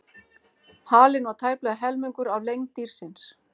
Halinn var tæplega helmingur af lengd dýrsins.